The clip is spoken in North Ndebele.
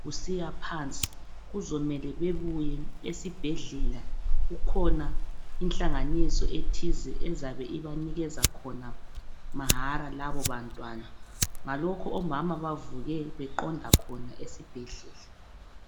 kusiya phansi kuzomele bebuye esibhedlela kukhona inhlanganiso ethize ezaba ibanikeza khona mahara labo bantwana ngalokho omama bavuke beqonda khona esibhedlela.